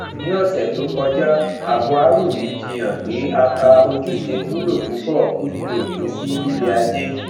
ní ọsẹ tó kọjá agboarumi jiyàn pé aka ojúṣe wúlò púpọ fífi òpin sí lílé ajé